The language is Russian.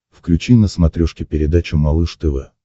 включи на смотрешке передачу малыш тв